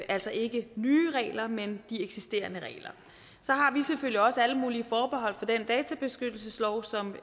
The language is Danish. altså ikke nye regler men de eksisterende regler så har vi selvfølgelig også alle mulige forbehold over for det databeskyttelseslovforslag